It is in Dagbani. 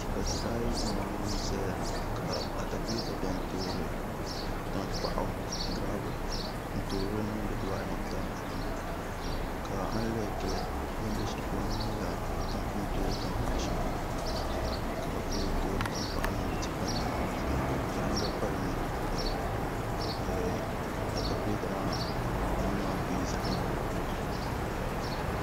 Tipa tipa nimaayi n ʒɛya ka atakulɛta biɛni toori tankpaɣu gurabul n toori niŋdi dibaayi maa zaa puuni ka a lihi gili bin bɛ shɛli polo maa nyɛla ni toori tankpaɣu shɛli polo ka bi lee toori tankpaɣu niŋdi tipa nim maa puuni zaɣ yinga palimi ka atakulɛta maa nuu maa bɛ zaɣ yinga gba polo